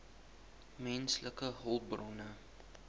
menslike hulpbronne